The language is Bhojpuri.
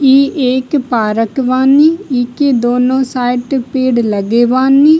ई एक पार्क बानी। ईके दोनों साइड पेड़ लगे बानी।